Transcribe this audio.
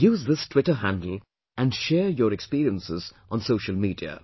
Use this Twitter handle and share your experiences on social media